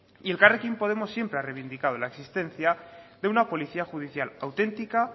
y elkarrekin podemos siempre ha reivindicado la existencia de una policía judicial auténtica